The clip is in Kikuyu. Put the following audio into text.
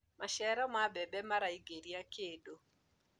maciaro ma mbembe maraingiria kĩndũ